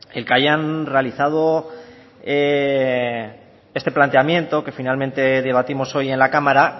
el que hayan realizado este planteamiento que finalmente debatimos hoy en la cámara